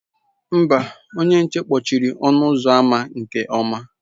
Mba, onye nche kpọchiri ọnụ ụzọ ámá nke ọma.